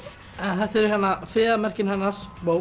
þetta er friðarmerkið hennar